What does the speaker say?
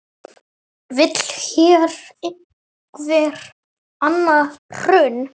Vill hér einhver annað hrun?